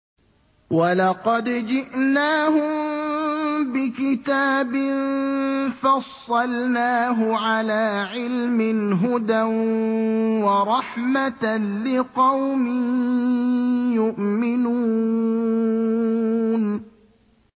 وَلَقَدْ جِئْنَاهُم بِكِتَابٍ فَصَّلْنَاهُ عَلَىٰ عِلْمٍ هُدًى وَرَحْمَةً لِّقَوْمٍ يُؤْمِنُونَ